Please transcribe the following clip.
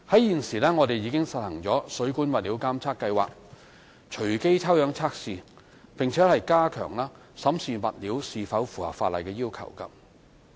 現時，我們已實行水管物料監察計劃，隨機抽樣測試，並加強審視物料是否符合法例要求。